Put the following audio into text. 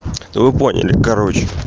то вы поняли короче